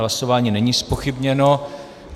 Hlasování není zpochybněno.